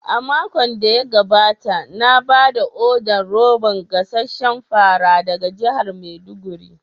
A makon da ya gabata na ba da odar roban gasasshen fara daga jihar maiduguri.